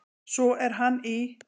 Svo er hann í